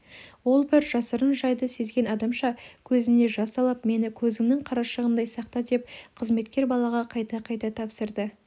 ол бір жасырын жайды сезген адамша көзіне жас алып мені көзіңнің қарашығындай сақта деп қызметкер балаға қайта-қайта тапсырды